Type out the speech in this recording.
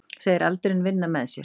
Segir aldurinn vinna með sér